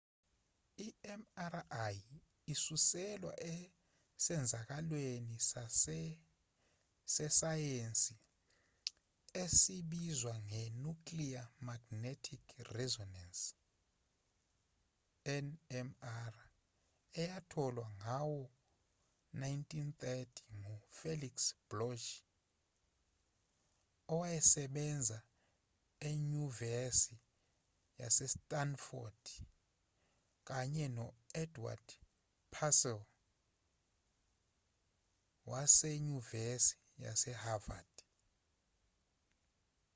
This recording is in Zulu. i-mri isuselwa esenzakalweni sesayensi esibizwa nge-nuclear magnetic resonance nmr eyatholwa ngawo-1930 ngu-felix bloch owayesebenza enyuvesi yase-stanford kanye no-edward purcell wasenyuvesi yase-havard